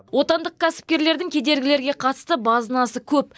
отандық кәсіпкерлердің кедергілерге қатысты базынасы көп